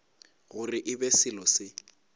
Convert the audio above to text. gore e be selo se